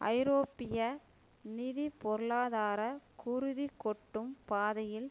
ஐரோப்பிய நிதி பொருளாதார குருதி கொட்டும் பாதையில்